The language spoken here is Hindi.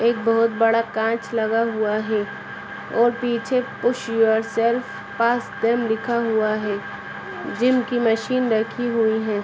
एक बहुत बड़ा कांच लगा हुआ है और पीछे लिखा हुआ है जिम की मशीन राखी हुई हैं।